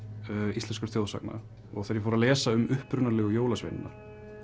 íslenskra þjóðsagna og þegar ég fór að lesa um upprunalegu jólasveinana